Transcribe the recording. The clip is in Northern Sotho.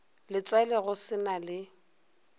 letswele go se na le